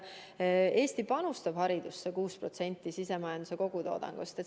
Eesti panustab haridusse 6% sisemajanduse kogutoodangust.